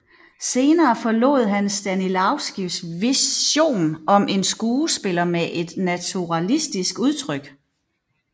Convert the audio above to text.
Senere forlod han Stanislavskijs vision om en skuespiller med et naturalistisk udtryk